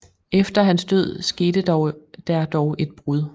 Efter hans død skete der dog et brud